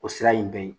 O sira in bɛɛ ye